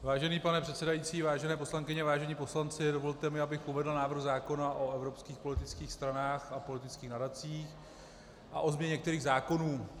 Vážený pane předsedající, vážené poslankyně, vážení poslanci, dovolte mi, abych uvedl návrh zákona o evropských politických stranách a politických nadacích a o změně některých zákonů.